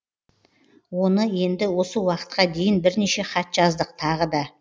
оны енді осы уақытқа дейін бірнеше хат жаздық тағы да